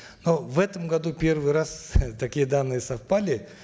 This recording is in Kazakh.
ну в этом году первый раз э такие данные совпали